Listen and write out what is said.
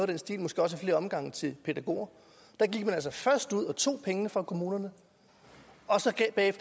den stil måske også i flere omgange til pædagoger der gik man først ud og tog pengene fra kommunerne og så